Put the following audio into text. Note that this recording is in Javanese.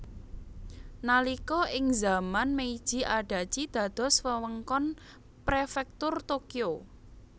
Nalika ing zaman Meiji Adachi dados wewengkon Prefektur Tokyo